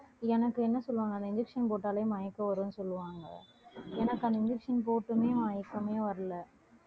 எனக்கு என்ன சொல்லுவாங்க அந்த injection போட்டாலே மயக்கம் வரும்னு சொல்லுவாங்க எனக்கு அந்த injection போட்டுமே மயக்கமே வரலை